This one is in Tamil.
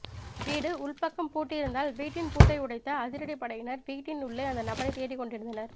வீடு உள்பக்கம் பூட்டியிருந்ததால் வீட்டின் பூட்டை உடைத்த அதிரடிப்படையினர் வீட்டின் உள்ளே அந்த நபரை தேடிக்கொண்டிருந்தனர்